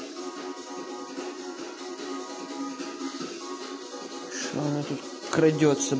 край